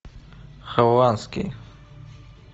хованский